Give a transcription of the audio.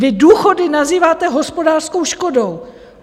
Vy důchody nazýváte hospodářskou škodou?